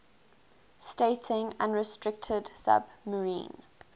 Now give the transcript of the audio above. stating unrestricted submarine